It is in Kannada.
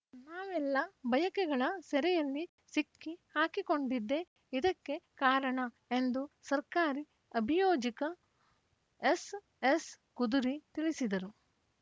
ನಾವೆಲ್ಲಾ ಬಯಕೆಗಳ ಸೆರೆಯಲ್ಲಿ ಸಿಕ್ಕಿ ಹಾಕಿಕೊಂಡಿದ್ದೇ ಇದಕ್ಕೆ ಕಾರಣ ಎಂದು ಸರ್ಕಾರಿ ಅಭಿಯೋಜಕ ಎಸ್‌ಎಸ್‌ಕುದುರಿ ತಿಳಿಸಿದರು